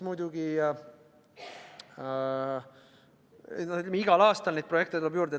Ja igal aastal tuleb neid projekte juurde.